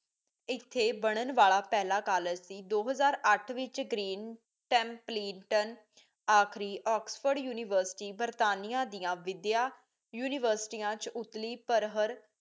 ਇਥੇ ਬਣਨ ਵਾਲਾ ਪਹੀਲਾ ਕਾਲਜ ਸੀ ਦੋ ਹਜ਼ਾਰ ਅੱਠ ਵਿਚ green templeton ਆਖਰੀ ਓਕ੍ਸ੍ਫੋਰਡ ਯੂਨੀਵਰਸਿਟੀ ਬਰਤਾਨੀਆਂ ਦੀਆਂ ਵਿਦਿਆ ਯੂਨੀਵਰਸਿਟੀਆਂ ਚ ਉਤਲੀ ਪਰ ਹਰ